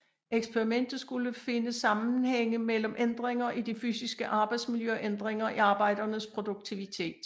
Eksperimentet skulle finde sammenhænge mellem ændringer i det fysiske arbejdsmiljø og ændringer i arbejdernes produktivitet